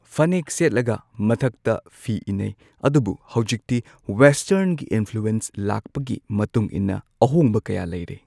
ꯐꯅꯦꯛ ꯁꯦꯠꯂꯒ ꯃꯊꯛꯇ ꯐꯤ ꯏꯟꯅꯩ ꯑꯗꯨꯕꯨ ꯍꯧꯖꯤꯛꯇꯤ ꯋꯦꯁꯇꯔꯟꯒꯤ ꯏꯟꯐ꯭ꯂꯨꯋꯦꯟꯁ ꯂꯥꯛꯄꯒꯤ ꯃꯇꯨꯡ ꯏꯟꯅ ꯑꯍꯣꯡꯕ ꯀꯌꯥ ꯂꯩꯔꯦ꯫